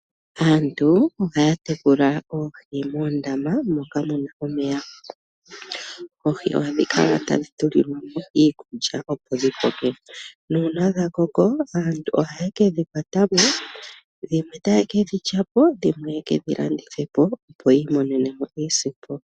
Aantu ohaya tekula oohi moondama moka muna omeya. Oohi ohadhi kala tadhi tulilwamo iikulya opo dhikoke. Nuuna dhakoko aantu ohaye kedhi kwatamo, dhimwe taye kedhi telekapo, dhimwe etaye kedhi landithapo yiimonenemo iisimpo.